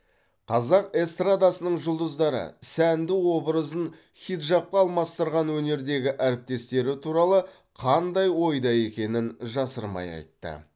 қазақ эстрадасының жұлдыздары сәнді образын хиджабқа алмастырған өнердегі әріптестері туралы қандай ойда екенін жасырмай айтты